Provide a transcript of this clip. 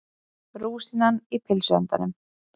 Rúsínan í pylsuendanum